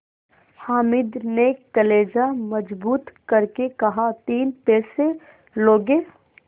हामिद ने कलेजा मजबूत करके कहातीन पैसे लोगे